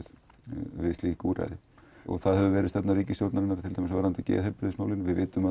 við slík úrræði það hefur verið stefna ríkisstjórnar varðandi geðheilbrigðismálin